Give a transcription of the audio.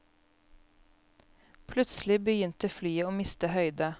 Plutselig begynte flyet å miste høyde.